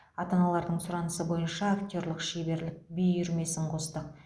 ата аналардың сұранысы бойынша актерлік шеберлік би үйірмесін қостық